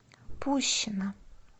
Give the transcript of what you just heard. пущино